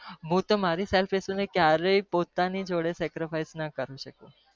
મુતો મારી self respect જોડે sacrifice ના કરી સકું